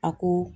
A ko